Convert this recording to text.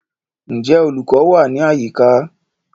Ǹjẹ́ olùkọ́ wà ní àyíká?